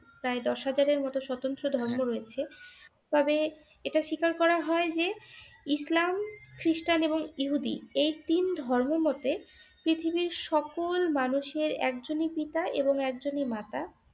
প্রায় দশ হাজারের মত স্বত্রন্ত ধর্ম রয়েছে, তবে এইটা স্বীকার করা হয় যে ইসলাম খ্রিষ্টান এবং ইহুদী এই তিন ধর্ম মতে পৃথিবীর সকল মানুষের একজনই পিতা এবং একজনই মাতা ।